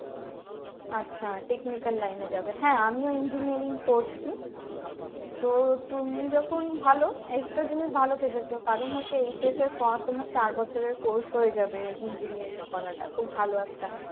আচ্ছা technical line এ যাবে হ্যাঁ আমিও engineering করছি তো তুমি যখন ভালো একটা জিনিস ভালো ভেবেছো কারন হচ্ছে HS এর পর তোমার চার বছরের course হয়ে যাবে engineering করা টা খুব ভালো একটা